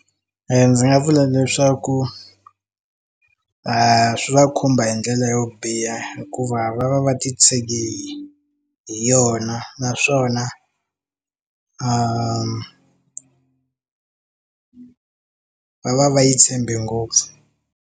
Ndzi nga vula leswaku i swi va khumba hi ndlela yo biha hikuva va va va ti tshegi hi yona naswona va va va yi tshembe ngopfu.